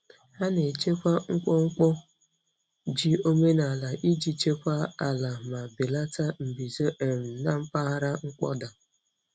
Ha na-echekwa mkpọmkpọ ji omenaala iji chekwaa ala ma belata mbuze um na mpaghara mkpọda.